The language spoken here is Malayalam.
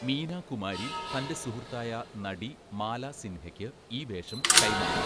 മീനാ കുമാരി തന്റെ സുഹൃത്തായ നടി മാലാ സിൻഹയ്ക്ക് ഈ വേഷം കൈമാറി.